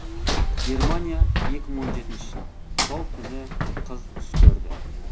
германия екі мың он жетінші жыл сол түні қыз түс көрді